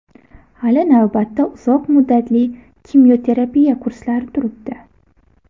Hali navbatda uzoq muddatli kimyoterapiya kurslari turibdi.